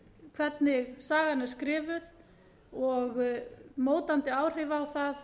hvernig sagan er skrifuð og mótandi áhrif á það